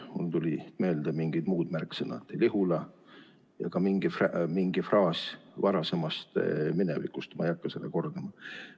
Mulle tulid meelde mingid muud märksõnad, Lihula ja ka mingi fraas varasemast minevikust, mida ma ei hakka kordama.